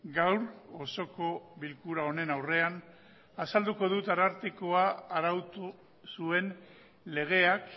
gaur osoko bilkura honen aurrean azalduko dut arartekoak arautu zuen legeak